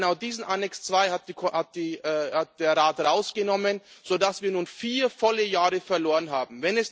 Genau diesen Annex II hat der Rat rausgenommen, sodass wir nun vier volle Jahre verloren haben.